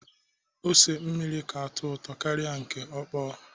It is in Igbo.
Ose mmiri ka atọ ụtọ karịa nke ọkpọ.